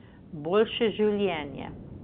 Boljše življenje.